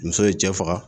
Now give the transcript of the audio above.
Muso ye cɛ faga